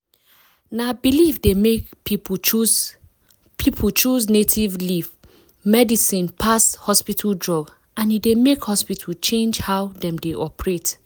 na belief dey make people choose people choose native leaf medicine pass hospital drug and e dey make hospital change how dem dey operate.